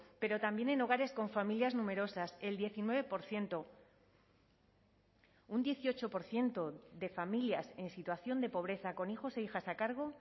pero también en hogares con familias numerosas el diecinueve por ciento un dieciocho por ciento de familias en situación de pobreza con hijos e hijas a cargo